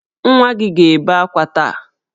Nwa gị ga-ebe akwa taa!